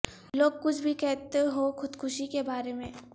لوگ کچھ بھی کہتے ہوں خود کشی کے بارے میں